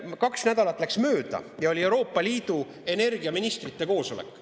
Kaks nädalat läks mööda ja oli Euroopa Liidu energiaministrite koosolek.